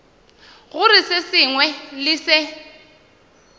gore se sengwe le se